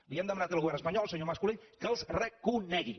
li hem demanat al govern espanyol el senyor mas colell que els reconegui